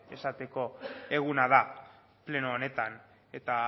esateko eguna da pleno honetan eta